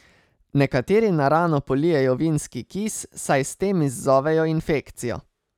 Nekateri na rano polijejo vinski kis, saj s tem izzovejo infekcijo.